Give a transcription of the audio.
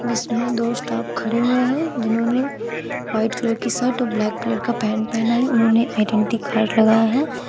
जिसमें दो स्टाफ खड़े हुए हैं जिन्होंने व्हाइट कलर की शर्ट और ब्लैक कलर का पैंट पहना है उन्होंने आइडेंटी कार्ड लगाया है।